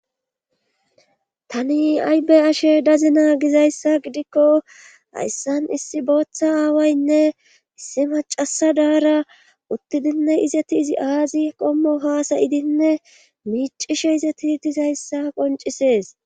Tani aybe ashe dazina gizayssa gidikko hayssan issi booththa aawaynne issi macasa daara uttidinne izeti izi aazi qommo haasayidinne miicishe izeti dizayssa qoncisees.